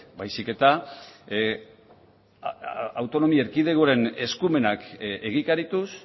baizik eta autonomia erkidegoaren eskumenak egikarituz